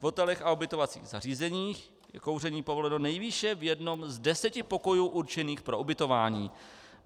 V hotelech a ubytovacích zařízeních je kouření povoleno nejvýše v jednom z deseti pokojů určených pro ubytování.